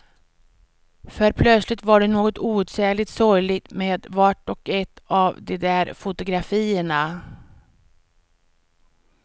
För plötsligt var det något outsägligt sorgligt med vart och ett av de där fotografierna.